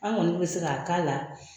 An kɔni bɛ se k'a k'a la